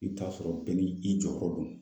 I bɛ taa sɔrɔ bɛɛ n'i jɔyɔrɔ don.